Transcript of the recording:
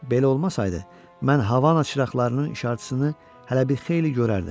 Belə olmasaydı, mən havanın çıraqlarının işarəçisini hələ bir xeyli görərdim.